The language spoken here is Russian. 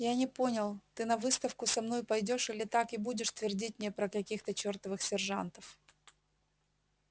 я не понял ты на выставку со мной пойдёшь или так и будешь твердить мне про каких-то чертовых сержантов